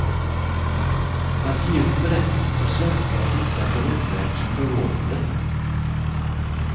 Att ge ut berättelsen på svenska är lika berömvärt som förvånande.